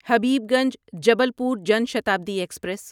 Habibganj Jabalpur Jan Shatabdi express